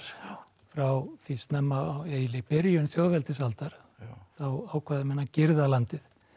frá því snemma á eiginlega í byrjun þjóðveldisaldar þá ákváðu menn að girða landið